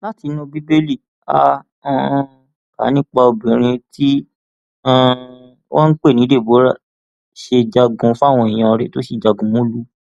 látinú bíbélì á um kà nípa bí obìnrin tí um wọn pè ní deborah ṣe jagun fáwọn èèyàn rẹ tó sì jagunmólú